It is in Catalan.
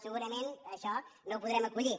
segurament això no ho podrem aco·llir